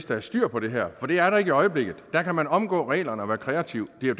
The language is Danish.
der er styr på det her for det er der ikke i øjeblikket der kan man omgå reglerne og være kreativ det er